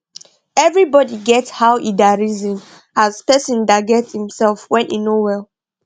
evribodi get how e da reson as person da get himsef when he no well